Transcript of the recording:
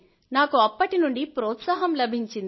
నాకు అప్పటి నుండి ప్రోత్సాహం లభించింది